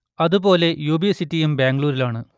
അതു പോലെ U B സിറ്റിയും ബാംഗ്ലൂരിലാണ്